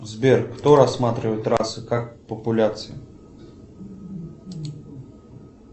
сбер кто рассматривает расы как популяции